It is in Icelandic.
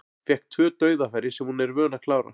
Fékk tvö dauðafæri sem hún er vön að klára.